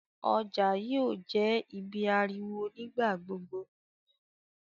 ọjà yóò jé ibí ariwo nigba-gbogbo.